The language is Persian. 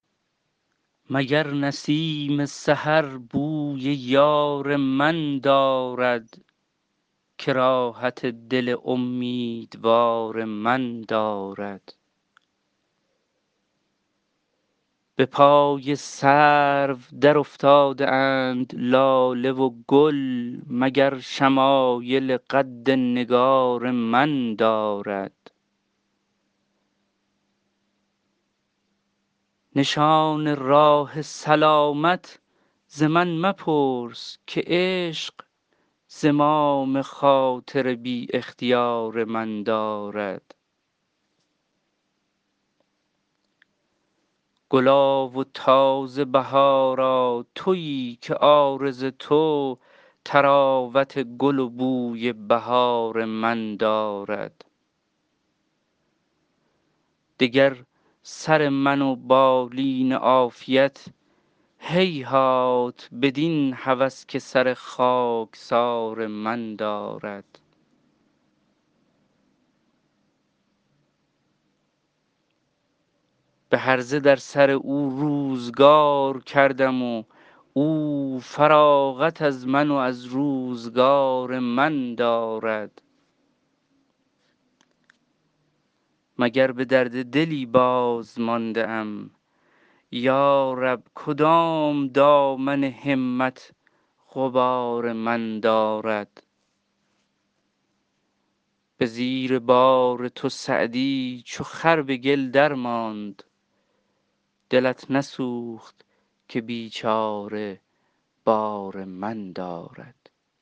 مگر نسیم سحر بوی یار من دارد که راحت دل امیدوار من دارد به پای سرو درافتاده اند لاله و گل مگر شمایل قد نگار من دارد نشان راه سلامت ز من مپرس که عشق زمام خاطر بی اختیار من دارد گلا و تازه بهارا تویی که عارض تو طراوت گل و بوی بهار من دارد دگر سر من و بالین عافیت هیهات بدین هوس که سر خاکسار من دارد به هرزه در سر او روزگار کردم و او فراغت از من و از روزگار من دارد مگر به درد دلی بازمانده ام یا رب کدام دامن همت غبار من دارد به زیر بار تو سعدی چو خر به گل درماند دلت نسوخت که بیچاره بار من دارد